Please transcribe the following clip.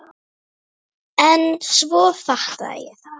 En svo fattaði ég þetta!